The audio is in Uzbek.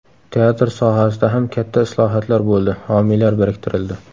Teatr sohasida ham katta islohotlar bo‘ldi, homiylar biriktirildi.